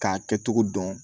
K'a kɛcogo dɔn